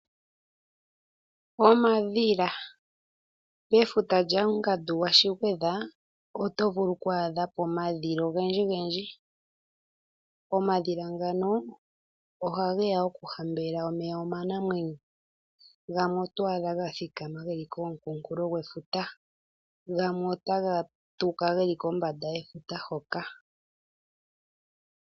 Omadhila, mefuta lyaangandu gwa shigwedha oto vulu okwaa dhapo omadhila ogendji gendji. Omadhila ngano oha geya oku hambelela omeya omanamwenyo, gamwe otwadha ga thikama geli kokunkulo gwefuta, gamwe otaga tuka geli kombanda yefuta hoka.